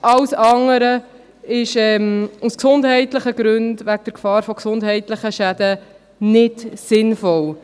Alles andere ist aus gesundheitlichen Gründen, wegen der Gefahr von gesundheitlichen Schäden, nicht sinnvoll.